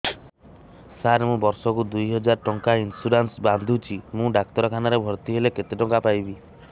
ସାର ମୁ ବର୍ଷ କୁ ଦୁଇ ହଜାର ଟଙ୍କା ଇନ୍ସୁରେନ୍ସ ବାନ୍ଧୁଛି ମୁ ଡାକ୍ତରଖାନା ରେ ଭର୍ତ୍ତିହେଲେ କେତେଟଙ୍କା ପାଇବି